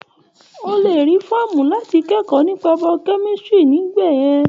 O lè rí rí fọ́ọ̀mù láti kẹ́kọ̀ọ́ nípa Biochemistry níbẹ̀ yẹn.